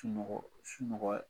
Tunɔgɔ Sunɔgɔ.